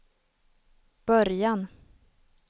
början